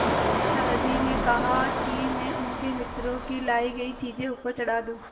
दादाजी ने कहा कि मैं उनके मित्रों की लाई चीज़ें ऊपर चढ़ा दूँ